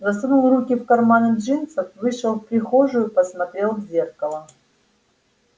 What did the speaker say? засунул руки в карманы джинсов вышел в прихожую посмотрел в зеркало